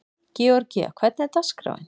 Georgía, hvernig er dagskráin?